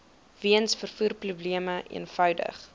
weens vervoerprobleme eenvoudig